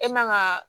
E man ka